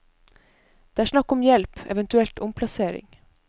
Det er snakk om hjelp, eventuelt omplassering.